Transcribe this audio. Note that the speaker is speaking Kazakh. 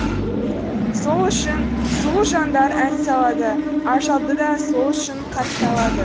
сол үшін сұлу жандар ән салады ажалды да сол үшін қарсы алады